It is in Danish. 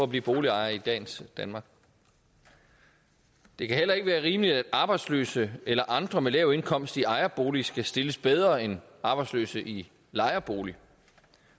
blive boligejer i dagens danmark det kan heller ikke være rimeligt at arbejdsløse eller andre med lav indkomst i ejerbolig skal stilles bedre end arbejdsløse i lejerbolig